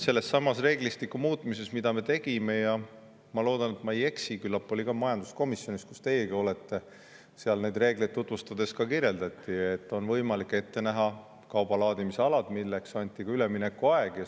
Sellesama reeglistiku muutmise ajal – ma loodan, et ma ei eksi – küllap ka majanduskomisjonis, kus teiegi olete, neid reegleid tutvustades, et on võimalik ette näha kauba laadimise alad, mille anti ka üleminekuaeg.